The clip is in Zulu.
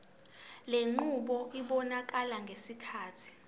lenqubo ibonakala sengathi